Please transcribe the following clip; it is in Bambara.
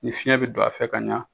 Ni fiyɛn bɛ don a fɛ ka ɲa